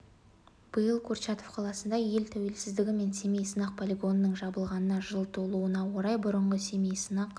биыл курчатов қаласында ел тәуелсіздігі мен семей сынақ полигонының жабылғанына жыл толуына орай бұрынғы семей сынақ